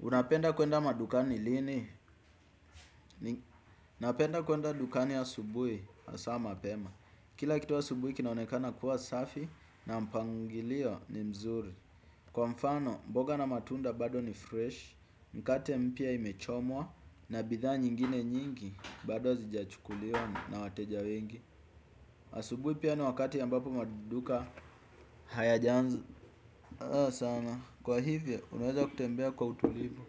Unapenda kuenda madukani lini, napenda kuenda dukani ya asubuhi hasa mapema. Kila kitu asubuhi kinaonekana kuwa safi na mpangilio ni mzuri. Kwa mfano, mboga na matunda bado ni fresh, mkate mpya imechomwa na bidhaa nyingine nyingi bado hazijachukuliwa na wateja wengi. Asubuhi pia ni wakati ambapo maduka hayajaanza. Sana, kwa hivyo unaweza kutembea kwa utulivu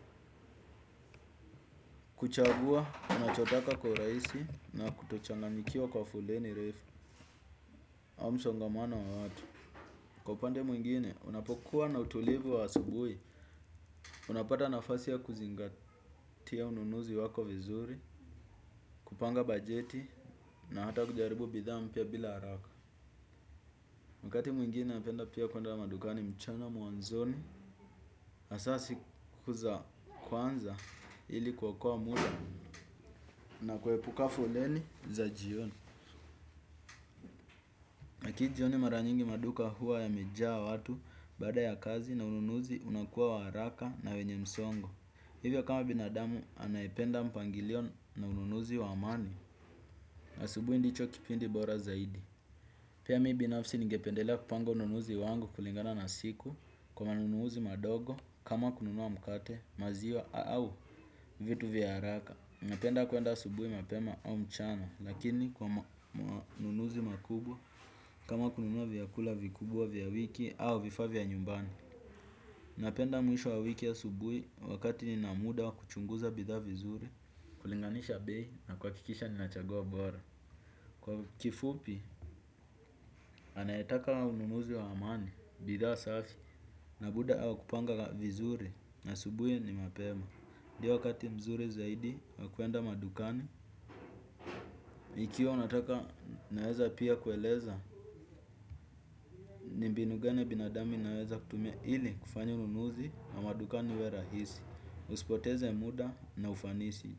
kuchagua, unachotaka kwa urahisi na kutochanganikiwa kwa fuleni refu au msongamano wa watu. Kwa upande mwingine, unapokuwa na utulivu wa asubuhi unapata nafasi ya kuzingatia ununuzi wako vizuri kupanga bajeti na hata kujaribu bidhaa mpya bila haraka wakati mwingine napenda pia kuenda madukani mchana mwanzoni hasa siku za kwanza ili kuokoa muda na kuepuka foleni za jioni. Maki jioni mara nyingi maduka huwa yamejaa watu baada ya kazi na ununuzi unakuwa wa haraka na wenye msongo. Hivyo kama binadamu anayependa mpangilio na ununuzi wa amani. Asubuhi ndicho kipindi bora zaidi. Pia mimi binafsi ningependelea kupanga ununuzi wangu kulingana na siku kwa manunuzi madogo kama kununua mkate maziwa au vitu vya haraka. Napenda kuenda asubuhi mapema au mchana, lakini kwa manunuzi makubwa, kama kununua vyakula vikubwa vya wiki au vifaa vya nyumbani. Napenda mwisho wa wiki asubuhi, wakati nina muda wa kuchunguza bidhaa vizuri, kulinganisha bei, na kuhakikisha nina chaguo bora. Kwa kifupi, anayetaka ununuzi wa amani, bidhaa safi, na buda au kupanga vizuri, subuhi ni mapema. Ndio wakati mzuri zaidi wa kuenda madukani, ikiwa nataka naweza pia kueleza, ni mbinu gani ya binadamu ninaweza kutumia ili kufanya ununuzi na maduka niwe rahisi. Usipoteze muda na ufanisi.